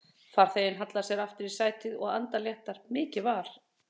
Farþeginn hallar sér aftur í sætið, og andar léttar, mikið var!